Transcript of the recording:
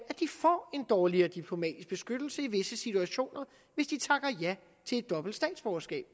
at de får en dårligere diplomatisk beskyttelse i visse situationer hvis de takker ja til et dobbelt statsborgerskab